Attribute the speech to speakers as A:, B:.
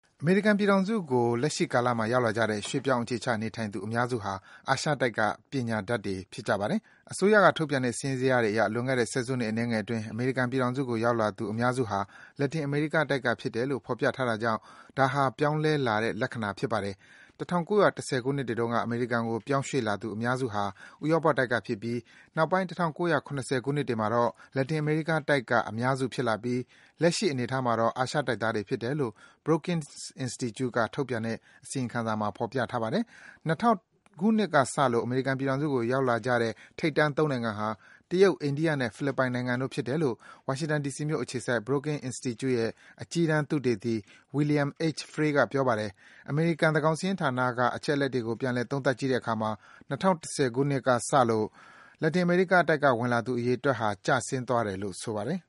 A: အမေရိကန်ပြည်ထောင်စုကို လက်ရှိကာလမှာ ရောက်လာကြတဲ့ ရွှေ့ပြောင်း အခြေချနေထိုင်သူ အများစုဟာ အာရှတိုက်က ပညာတတ်တွေ ဖြစ်ပါတယ်။ အစိုးရက ထုတ်ပြန်တဲ့ စာရင်းဇယားတွေအရ လွန်ခဲ့တဲ့ ဆယ်စုနှစ် အနည်းငယ်အတွင်း အမေရိကန်ပြည်ထောင်စုကို ရောက်လာသူ အများစုဟာ လက်တင်အမေရိကားတိုက်က ဖြစ်တယ်လို့ ဖော်ပြထားတာကြောင့် ဒါဟာ ပြောင်းလဲလာတဲ့ လက္ခဏာဖြစ်ပါတယ်။ ၁၉၁၀ ခုနှစ်တွေတုန်းက အမေရိကန်ကို ပြောင်းရွှေ့လာသူ အများစုဟာ ဥရောပတိုက်ကဖြစ်ပြီ၊ နောက်ပိုင်း ၁၉၇၀ ခုနှစ်တွေမှာတော့ လက်တင်အမေရီးကားတိုက်က အများစုဖြစ်လာပြီး လက်ရှိ အနေအထားမှာတော့ အာရှတိုက်သားတွေဖြစ်တယ်လို့ Brookings Institute က ထုတ်ပြန်တဲ့ အစီရင်ခံစာမှာ ဖော်ပြထားပါတယ်။ ၂၀၀၀ ခုနှစ်ကစလို့ အမေရိကန်ပြည်ထောင်စုကို ရောက်လာကြတဲ့ ထိပ်တန်း ၃ နိုင်ငံဟာ တရုတ်၊ အိန္ဒိယနဲ့ ဖိလစ်ပိုင်နိုင်ငံတို့ဖြစ်တယ်လို့ ဝါရှင်တန် ဒီစီမြို့အခြေစိုက် Brooking Institute ရဲ့ အကြီးတန်း သုတေသီ William H. Frey က ပြောပါတယ်။ အမေရိကန် သန်းခေါင်စာရင်းဌာနက အချက်အလက်တွေကို ပြန်လည် သုံးသပ်ကြည့်တဲ့အခါမှာ ၂၀၁၀ ခုနှစ်ကစလို့ လက်တင်အမေရိကတိုက်က ဝင်ရောက်လာသူ အရေးအတွက်ဟာ ကျဆင်းသွားတယ်လို့
B: ဆိုပါတယ်။